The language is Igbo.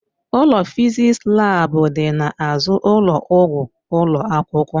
Ụlọ fịzịksi laabu dị n'azụ ụlọ ọgwụ ụlọ akwụkwọ.